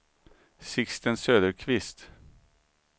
Sixten Söderqvist